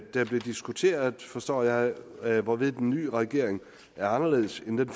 det er blevet diskuteret forstår jeg jeg hvorved den nye regering er anderledes end den